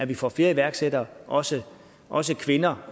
vi får flere iværksættere også også kvinder